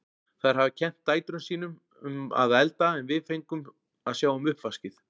Þær hafa kennt dætrum sín um að elda en við fengum að sjá um uppvaskið.